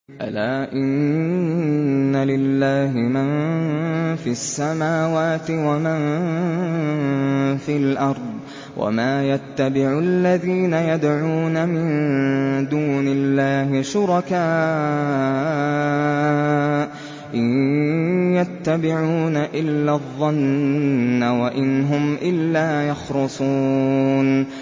أَلَا إِنَّ لِلَّهِ مَن فِي السَّمَاوَاتِ وَمَن فِي الْأَرْضِ ۗ وَمَا يَتَّبِعُ الَّذِينَ يَدْعُونَ مِن دُونِ اللَّهِ شُرَكَاءَ ۚ إِن يَتَّبِعُونَ إِلَّا الظَّنَّ وَإِنْ هُمْ إِلَّا يَخْرُصُونَ